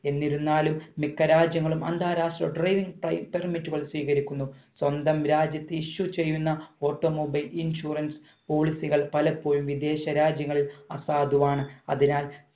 എന്നിരുന്നാലും മിക്ക രാജ്യങ്ങളും അന്താരാഷ്ട്ര driving പ്രി permit കൾ സ്വീകരിക്കുന്നു സ്വന്തം രാജ്യത്തെ issue ചെയ്യുന്ന auto mobile insurance policy കൾ പലപ്പോഴും വിദേശ രാജ്യങ്ങളിൽ അസാധുവാണ് അതിനാൽ